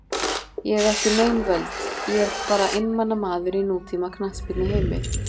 Ég hef ekki nein völd, ég er bara einmana maður í nútíma knattspyrnuheimi.